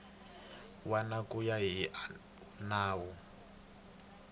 wana ku ya hi nawu